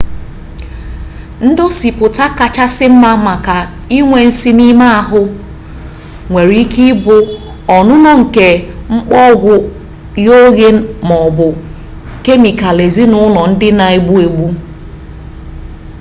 ndosipụta kachasị mma maka inwe nsi n'ime ahụ nwere ike ịbụ ọnụnọ nke mkpọ ogwụ ghe oghe ma ọ bụ kemikalụ ezinụlọ ndị na-egbu agbu